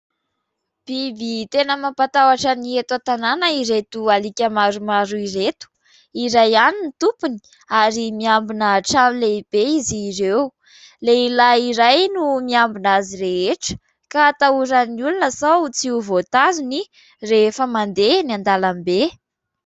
Biby tena mampatahotra ny eto an-tanàna ireto alika maromaro ireto. Iray ihany no tompony ary miambina trano lehibe izy ireo. Lehilahy iray no miambina azy rehetra ka atahoran'ny olona sao tsy ho voatazony rehefa mandeha eny an-dalambe.